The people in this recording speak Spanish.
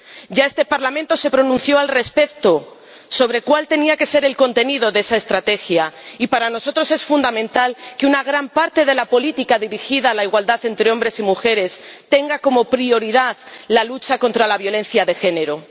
Ya este Parlamento se pronunció respecto a cuál tenía que ser el contenido de esa estrategia, y para nosotros es fundamental que una gran parte de la política dirigida a la igualdad entre hombres y mujeres tenga como prioridad la lucha contra la violencia de género.